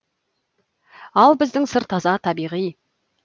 ал біздің сыр таза табиғи